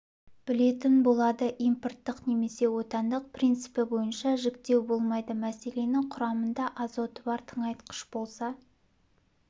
білетін болады импорттық немесе отандық принципі бойынша жіктеу болмайды мәселен құрамында азоты бар тыңайтқыш болса